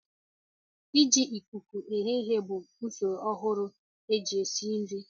Ị ji ikuku eghe ihe bụ usoro ọgbara ọhụrụ e si esi nri